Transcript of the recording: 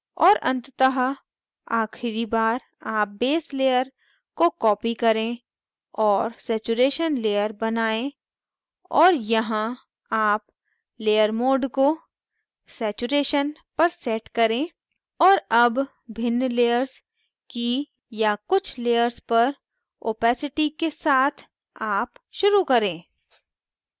और अंततः आखिरी बार आप base layer को copy करें और saturation layer बनायें और यहाँ आप layer mode को saturation पर set करें और अब भिन्न layers की या कुछ layers पर opacity के साथ आप शुरू करें